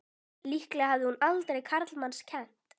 Líklega hafði hún aldrei karlmanns kennt!